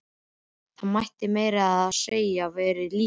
Það mætti meira að segja vera lítið.